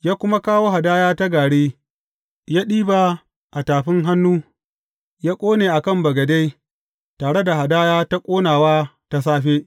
Ya kuma kawo hadaya ta gari, ya ɗiba a tafi hannu ya ƙone a kan bagade tare da hadaya ta ƙonawa ta safe.